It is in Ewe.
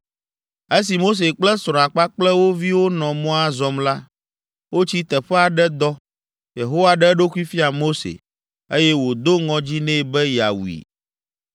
Esi Mose kple srɔ̃a kpakple wo viwo nɔ mɔa zɔm la, wotsi teƒe aɖe dɔ. Yehowa ɖe eɖokui fia Mose, eye wòdo ŋɔdzi nɛ be yeawui.